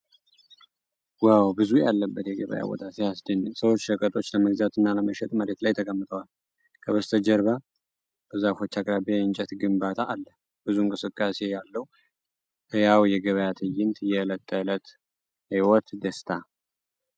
ዋው! ብዙ ሰው ያለበት የገበያ ቦታ ሲያስደንቅ! ሰዎች ሸቀጦች ለመግዛትና ለመሸጥ መሬት ላይ ተቀምጠዋል። ከበስተጀርባ በዛፎች አቅራቢያ የእንጨት ግንባታ አለ። ብዙ እንቅስቃሴ ያለው ሕያው የገበያ ትዕይንት። የዕለት ተዕለት ሕይወት ደስታ።